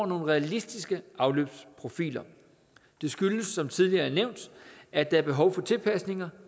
nogle realistiske afløbsprofiler det skyldes som tidligere nævnt at der er behov for tilpasninger